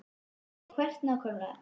Kristín: Og hvert nákvæmlega?